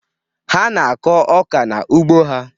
Ha na-akụ ọka n'ugbo ha.